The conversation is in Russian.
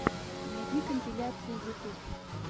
найди компиляции ютьюб